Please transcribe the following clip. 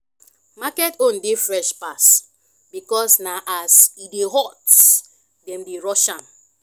market own dey fresh pass because na as "e dey hot" dem dey rush am